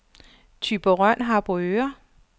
Thyborøn-Harboøre